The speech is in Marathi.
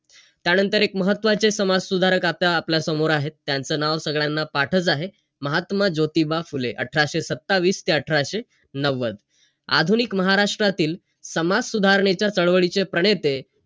त्यानंतर एक महत्वाचे समाजसुधारक आता आपल्या समोर आहेत. त्यांचं नाव सगळ्यांना पाठच आहे. महात्मा ज्योतिबा फुले. अठराशे सत्तावीस ते अठराशे नव्वद. आधुनिक महाराष्ट्रातील, समाजसुधारणेच्या चळवळीचे प्रणेते,